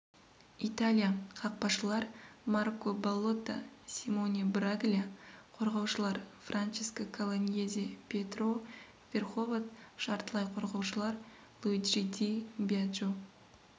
италия қақпашылар марко баллотта симоне браглия қорғаушылар франческо колоньезе пьетро верховод жартылай қорғаушылар луиджи ди бьяджо